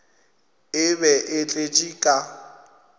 e be e tletše ka